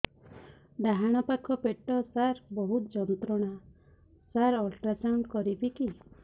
ଡାହାଣ ପାଖ ପେଟ ସାର ବହୁତ ଯନ୍ତ୍ରଣା ସାର ଅଲଟ୍ରାସାଉଣ୍ଡ କରିବି କି